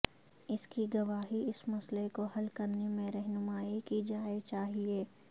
اس کی گواہی اس مسئلہ کو حل کرنے میں رہنمائی کی جائے چاہئے